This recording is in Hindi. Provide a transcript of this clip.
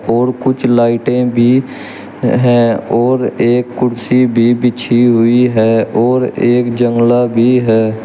और कुछ लाइटें भी है और एक कुर्सी भी बिछी हुई है और एक जंगला भी है।